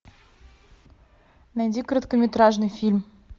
найди короткометражный фильм